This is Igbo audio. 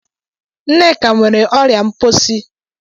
Nneka nwere ọrịa mposi